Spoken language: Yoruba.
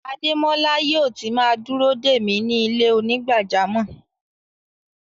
Ademọla yóò tì má dúró de mi ni ilẹ̀-onígbàjàmọ́.